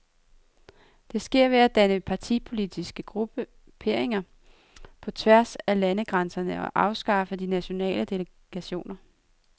Det sker ved at danne partipolitiske grupperinger på tværs af landegrænserne og afskaffe de nationale delegationer.